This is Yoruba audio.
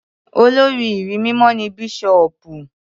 Olórí ìrí mímọ́ ni Bíṣọ̀bù.